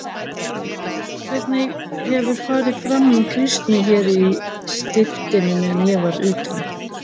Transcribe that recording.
Hvernig hefur farið fram um kristni hér í stiftinu meðan ég var utan?